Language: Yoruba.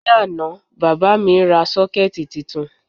Ní àná, bàbá mi ra sọ́kẹ́ẹ̀tì titun